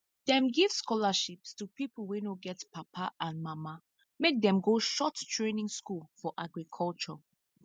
dem give scholarships to people wey no get papa and mama make dem go short training school for agriculture